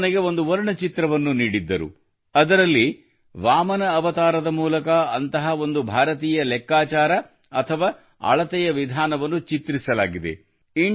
ಅವರು ನನಗೆ ಒಂದು ವರ್ಣಚಿತ್ರವನ್ನು ನೀಡಿದ್ದರು ಅದರಲ್ಲಿ ವಾಮನ ಅವತಾರದ ಮೂಲಕ ಅಂತಹ ಒಂದು ಭಾರತೀಯ ಲೆಕ್ಕಾಚಾರ ಅಥವಾ ಅಳತೆಯ ವಿಧಾನವನ್ನು ಚಿತ್ರಿಸಲಾಗಿದೆ